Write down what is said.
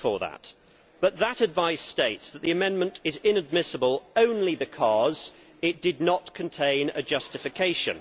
I thank him for that, but the advice states that the amendment is inadmissible only because it did not contain a justification